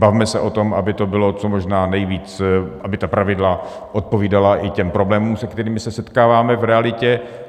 Bavme se o tom, aby to bylo co možná nejvíc... aby ta pravidla odpovídala i těm problémům, se kterými se setkáváme v realitě.